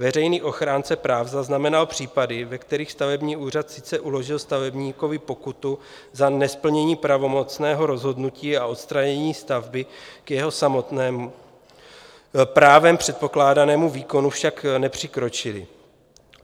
Veřejný ochránce práv zaznamenal případy, ve kterých stavební úřad sice uložil stavebníkovi pokutu za nesplnění pravomocného rozhodnutí a odstranění stavby, k jeho samotnému právem předpokládanému výkonu však nepřikročili.